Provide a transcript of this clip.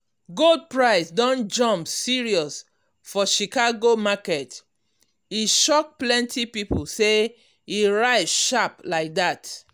gold price don jump serious for chicago market e shock plenty people as e rise sharp like that.